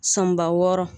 Sɔnba wɔɔrɔ